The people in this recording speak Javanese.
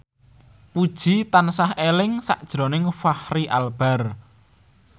Puji tansah eling sakjroning Fachri Albar